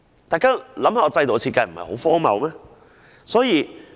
大家想想，這制度的設計不是很荒謬嗎？